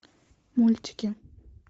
мультики